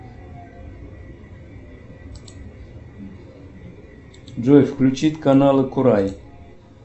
джой включить каналы курай